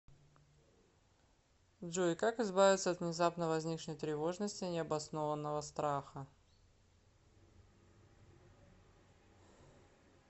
джой как избавиться от внезапно возникшей тревожности и необоснованного страха